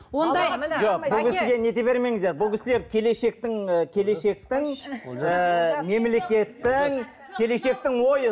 жоқ бұл кісіге не ете бермеңіздер бұл кісілер келешектің і келешектің ііі мемлекеттің келешектің ойы